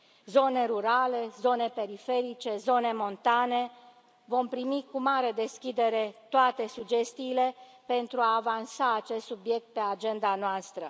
Zone rurale, zone periferice, zone montane vom primi cu mare deschidere toate sugestiile, pentru a avansa acest subiect pe agenda noastră.